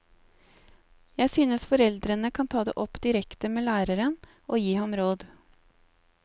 Jeg synes foreldrene kan ta det opp direkte med læreren og gi ham råd.